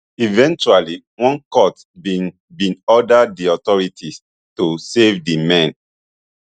eventually one court bin bin order di authorities to save di men